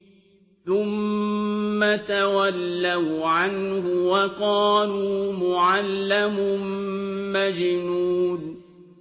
ثُمَّ تَوَلَّوْا عَنْهُ وَقَالُوا مُعَلَّمٌ مَّجْنُونٌ